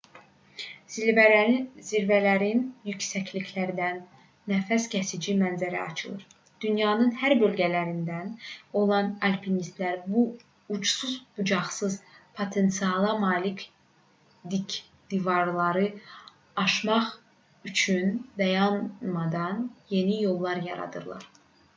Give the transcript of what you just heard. zirvələrin yüksəkliklərindən nəfəskəsici mənzərə açılır dünyanın hər bölgəsindən olan alpinistlər bu ucsuz-bucaqsız potensiala malik dik divarları aşmaq üçün dayanmadan yeni yollar yaradırlar